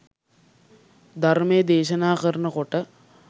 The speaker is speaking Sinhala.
ධර්මය දේශනා කරන කොට